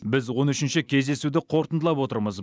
біз он үшінші кездесуді қорытындылап отырмыз